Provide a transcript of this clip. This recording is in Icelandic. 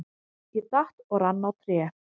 Ég datt og rann á tré.